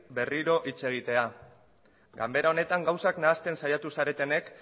berriro hitz egitea ganbera honetan gauzak nahasten saiatu zaretenek